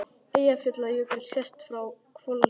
Eyjafjallajökull sést frá Hvolsvelli.